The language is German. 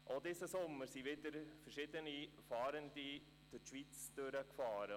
Auch diesen Sommer fuhren wieder verschiedene Fahrende durch die Schweiz.